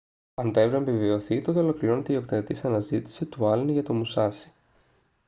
αν το εύρημα επιβεβαιωθεί τότε ολοκληρώνεται η οκταετής αναζήτηση του άλεν για το μουσάσι